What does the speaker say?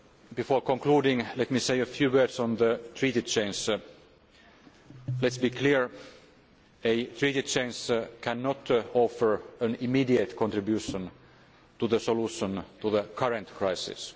the Treaty. Before concluding, let me say a few words on Treaty change. Let us be clear a Treaty change cannot offer an immediate contribution to the solution to the current